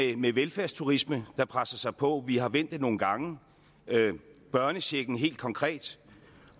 med velfærdsturisme der presser sig på vi har vendt det nogle gange børnechecken helt konkret